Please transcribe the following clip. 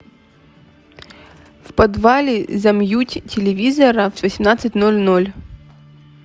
в подвале замьють телевизора в восемнадцать ноль ноль